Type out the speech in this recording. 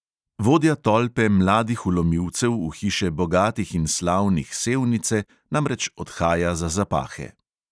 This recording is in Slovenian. Vodja tolpe mladih vlomilcev v hiše bogatih in slavnih sevnice namreč odhaja za zapahe.